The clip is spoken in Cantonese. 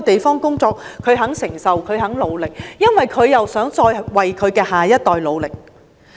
他們願意承受艱辛，因為希望為下一代努力。